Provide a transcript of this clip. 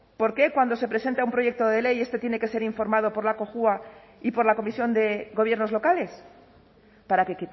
por qué cuando se presenta un proyecto de ley este tiene que ser informado por la cojua y por la comisión de gobiernos locales para que